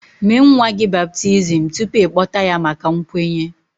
Mee nwa gị baptizim tupu ị kpọta ya maka nkwenye